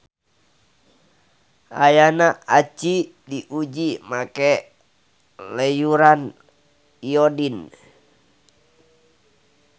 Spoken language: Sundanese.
Ayana aci diuji make leyuran iodin.